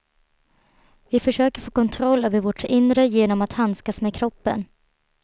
Vi försöker få kontroll över vårt inre genom att handskas med kroppen.